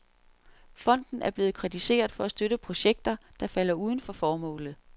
Fonden er blevet kritiseret for at støtte projekter, der falder uden for formålet.